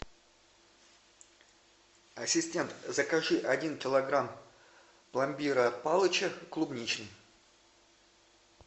ассистент закажи один килограмм пломбира от палыча клубничный